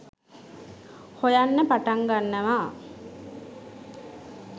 හොයන්න පටන් ගන්නවා